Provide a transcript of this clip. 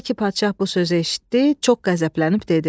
Elə ki padşah bu sözü eşitdi, çox qəzəblənib dedi.